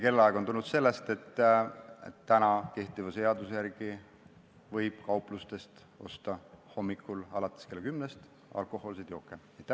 Kell kümme tuli sellest, et kehtiva seaduse järgi võib kauplustest hommikul alates kella kümnest alkohoolseid jooke osta.